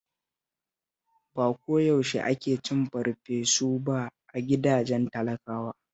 Ba ko yaushe ake cin farfesu ba a gidajen talakawa